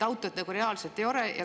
Autot siis nagu reaalselt ei ole.